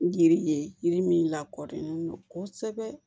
Yiri ye yiri min lakodɔnnen don kosɛbɛ